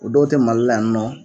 O dɔw te mali la yan nɔ